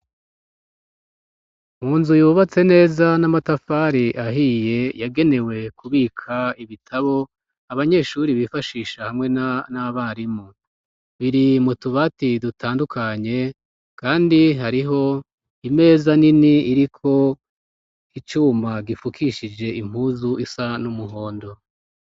Mu nzu yubatse neza n'amatafari ahiye yagenewe kubika ibitabo abanyeshuri bifashisha hamwe n'abarimu, biri mutubati dutandukanye kandi hariho imeza nini iriko icuma gifukishije impuzu isa n'umuhondo.